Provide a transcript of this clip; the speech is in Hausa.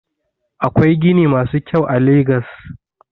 Akwai gini masu kyau a legas.